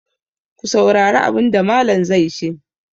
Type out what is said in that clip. Ku saurari abin da Mallam zai ce!